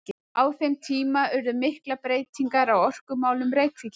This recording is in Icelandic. Á þeim tíma urðu miklar breytingar á orkumálum Reykvíkinga.